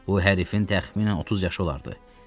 Bu hərifin təxminən 30 yaşı olardı.